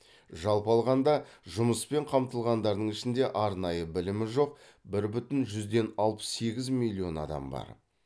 жалпы алғанда жұмыспен қамтылғандардың ішінде арнайы білімі жоқ бір бүтін жүзден алпыс сегіз миллион адам бар